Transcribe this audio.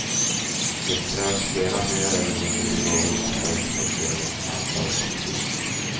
Det krävs flera mer eller mindre begåvade försök för att leda in samtalet på musik.